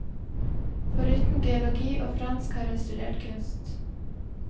Foruten geologi og fransk, har hun studert kunst.